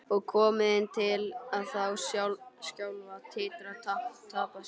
Og komið þeim til að þá skjálfa, titra, tapa sér?